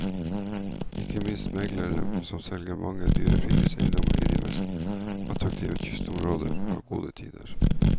Ikke minst meglere som selger mange dyre fritidseiendommer i de mest attraktive kystområdene, har gode tider.